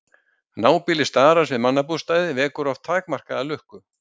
Nábýli starans við mannabústaði vekur oft takmarkaða lukku.